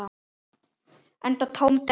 Enda tóm della.